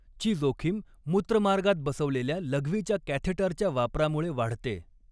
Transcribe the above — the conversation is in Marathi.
ची जोखीम मूत्रमार्गात बसवलेल्या लघवीच्या कॅथेटरच्या वापरामुळे वाढते.